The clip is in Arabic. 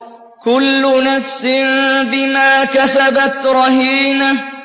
كُلُّ نَفْسٍ بِمَا كَسَبَتْ رَهِينَةٌ